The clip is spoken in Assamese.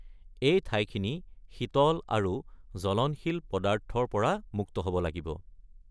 এই ঠাইখিনি শীতল আৰু জ্বলনশীল পদাৰ্থৰ পৰা মুক্ত হ’ব লাগিব।